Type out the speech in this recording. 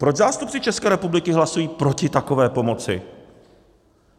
Proč zástupci České republiky hlasují proti takové pomoci?